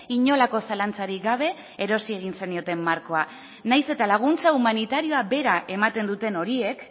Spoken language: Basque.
inolako zalantzarik gabe erosi egin zenioten markoa nahiz eta laguntza humanitarioa bera ematen duten horiek